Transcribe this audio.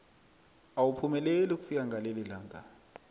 awuphumeleli ukufika ngalelilanga